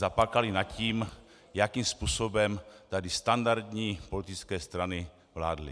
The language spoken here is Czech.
Zaplakali nad tím, jakým způsobem tady standardní politické strany vládly.